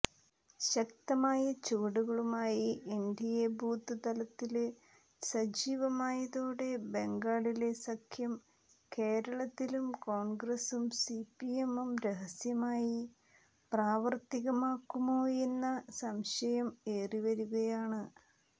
ശക്തമായ ചുവടുകളുമായി NDA booth തലത്തില് സജ്ജീവമായതോടെ ബംഗാളിലെ സഖ്യം കേരളത്തിലും കോണ്ഗ്രസും സിപിഎമ്മും രഹസ്യമായി പ്രാവര്ത്തികമാക്കുമോയെന്ന സംശയം ഏറിവരികയാണ്